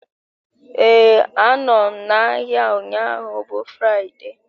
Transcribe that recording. Ee, anọ m n'ahịa ụnyaahụ bụ Fraịde